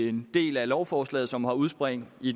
en del af lovforslaget som har udspring i